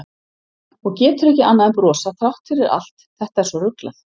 Og getur ekki annað en brosað þrátt fyrir allt, þetta er svo ruglað.